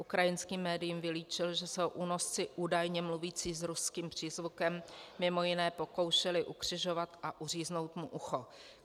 Ukrajinským médiím vylíčil, že se ho únosci, údajně mluvící s ruským přízvukem, mimo jiné pokoušeli ukřižovat a uříznout mu ucho.